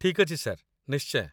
ଠିକ୍ ଅଛି ସାର୍, ନିଶ୍ଚୟ